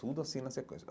Tudo assim na sequência.